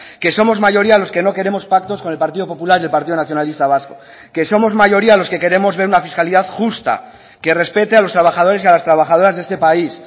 que somos mayoría los que no queremos pactos con el partido popular y el partido nacionalista vasco que somos mayoría los que queremos ver una fiscalidad justa que respete a los trabajadores y a las trabajadoras de este país